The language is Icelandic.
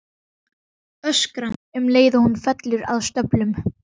Öskra um leið og hún fellur að stöfum.